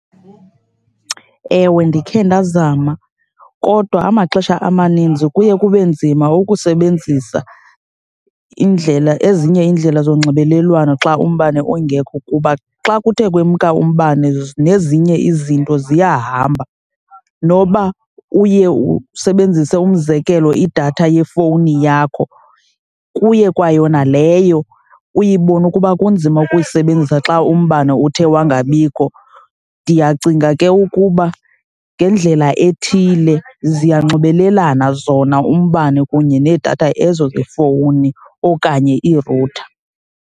Ewe, ndikhe ndazama kodwa amaxesha amaninzi kuye kube nzima ukusebenzisa indlela, ezinye iindlela zonxibelelwano xa umbane ungekho kuba xa kuthe kwemka umbane, nezinye izinto ziyahamba. Noba uye usebenzise umzekelo idatha yefowuni yakho, kuye kwayona leyo uyibone ukuba kunzima uyisebenzisa xa umbane uthe wangabikho. Ndiyacinga ke ukuba ngendlela ethile ziyanxibelelana zona umbane kunye needatha ezo zefowuni okanye irutha.